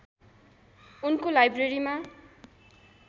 उनको लाइब्रेरीमा